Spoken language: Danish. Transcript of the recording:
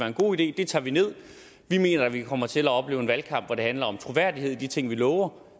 en god idé det tager vi nederst vi mener at vi kommer til at opleve en valgkamp hvor det handler om troværdighed og de ting vi lover